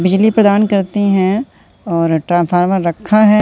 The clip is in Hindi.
बिजली प्रदान करती हैं और ट्रांफॉर्मर रखा हैं।